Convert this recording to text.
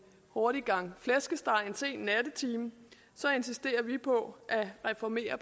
hurtig gang flæskesteg en sen nattetime så insisterer vi på at reformere